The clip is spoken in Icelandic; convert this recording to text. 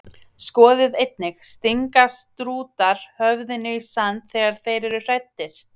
Skoðið einnig: Stinga strútar höfðinu í sand þegar þeir eru hræddir?